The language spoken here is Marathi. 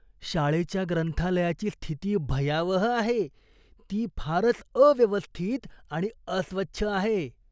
शाळेच्या ग्रंथालयाची स्थिती भयावह आहे, ती फारच अव्यवस्थित आणि अस्वच्छ आहे.